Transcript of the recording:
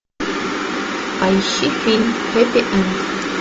поищи фильм хэппи энд